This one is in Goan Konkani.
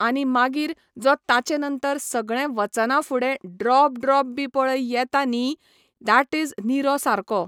आनी मागीर जो ताचे नंतर सगळें वचना फुडें ड्रॉप ड्रॉप बी पळय येता न्ही डॅट इज निरो सारको.